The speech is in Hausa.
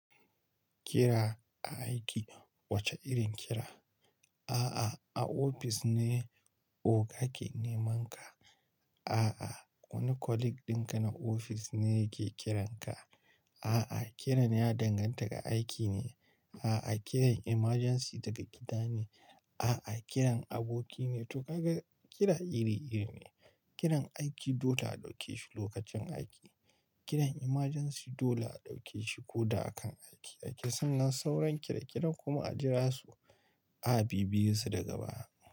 Kira aiki, wace irin kira? A'a, a ofis ne o ka ke neman ka. A'a, wani colleague ɗinka na ofis ne yake kiranka. A'a, kiran ya danganta ga aiki ne. A'a, kiran emergency daga gida ne. A'a, kiran aboki ne. To kaga kira iri-iri ne. Kiran aiki dole a ɗauke shi lokacin aiki. Kiran emergency dole a ɗauke shi ko da a kan aiki. A ke sanin sauran kira-kiran kuma a jira su a bibiye su daga baya.